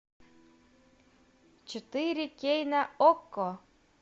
четыре кей на окко